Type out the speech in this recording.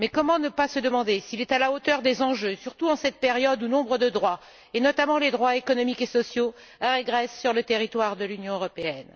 Mais comment ne pas se demander s'il est à la hauteur des enjeux, surtout en cette période où nombre de droits, notamment les droits économiques et sociaux, régressent sur le territoire de l'Union européenne?